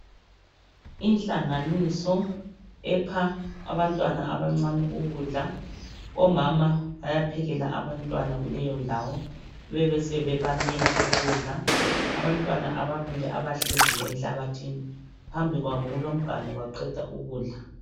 Inhlanganiso epha abantwana abancane ukudla omama bayaphekela abantwana kuleyo ndawo bebesebebanika ukudla abantwana ababili abahleziyo enhlabathini phambi kwabo kulomganu baqeda ukudla.